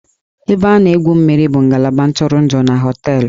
Ebe a na-egwu mmiri bụ ngalaba ntụrụndụ na hóteélụ̀